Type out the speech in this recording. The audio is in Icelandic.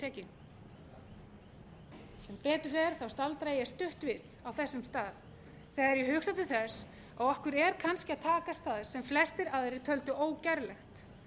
tekin sem betur fer staldra ég stutt við á þessum að þegar ég hugsa til þess að okkur er kannski að takast það á flestir aðrir töldu ógerlegt